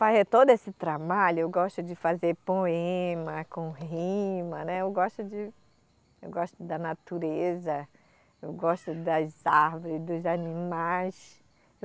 Fazer todo esse trabalho, eu gosto de fazer poema, com rima, né, eu gosto de, eu gosto da natureza, eu gosto das árvores, dos animais.